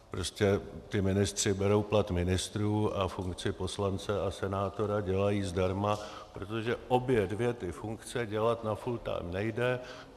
Prostě ministři berou plat ministrů a funkci poslance a senátora dělají zdarma, protože obě dvě ty funkce dělat na full time nejde.